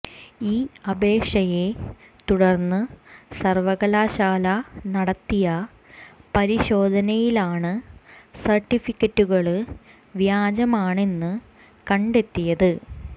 ഈ അപേക്ഷയെ തുടര്ന്ന് സര്വ്വകലാശാല നടത്തിയ പരിശോധനയിലാണ് സര്ട്ടിഫിക്കറ്റുകള് വ്യാജമാണെന്ന് കണ്ടെത്തിയത്